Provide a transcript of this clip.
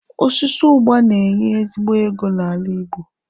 Osisi ụgba na-enye ezigbo ego n'ala Igbo.